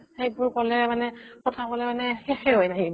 সেইবোৰ ক'লে মানে কথা ক'লে মানে শেষে হৈ নাহিব ।